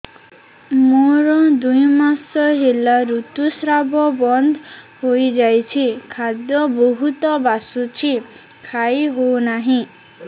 ମୋର ଦୁଇ ମାସ ହେଲା ଋତୁ ସ୍ରାବ ବନ୍ଦ ହେଇଯାଇଛି ଖାଦ୍ୟ ବହୁତ ବାସୁଛି ଖାଇ ହଉ ନାହିଁ